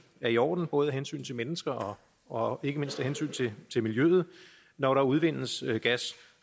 er i orden både af hensyn til mennesker og ikke mindst af hensyn til miljøet når der udvindes gas